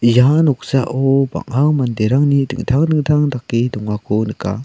ia noksao bang·a manderangni dingtang dingtang dake dongako nika.